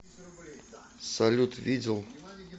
салют видел